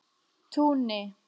Túni